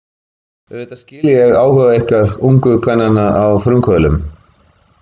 Auðvitað skil ég áhuga ykkar ungu kvennanna á frumkvöðlum.